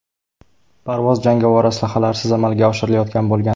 Parvoz jangovar aslahalarsiz amalga oshirilayotgan bo‘lgan.